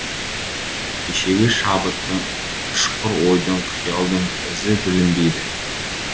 кешегі шабыттың ұшқыр ойдың қиялдың ізі білінбейді